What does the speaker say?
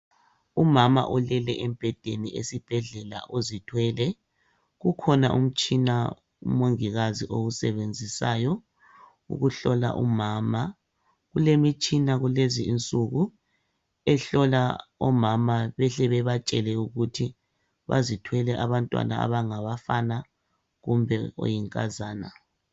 Umama ulele embhedeni esibhedlela uzithwele .Kukhona umtshina umongikazi owusebenzisayo ukuhlola umama .Kulemitshina kulezi insuku ehlola omama behle bebatshela ukuthi bazithwele abantwana abangabafana kumbe oyinkazana .